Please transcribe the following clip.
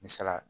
Misalaya